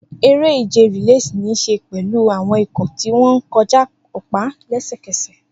Eré-ìje relay ní í ṣe pẹ̀lú àwọn ikọ̀ tí wọ́n ń kọjá ọ̀pá lẹ́sẹ̀kẹsẹ̀.